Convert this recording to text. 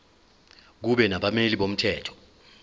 kube nabameli bomthetho